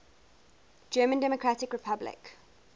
german democratic republic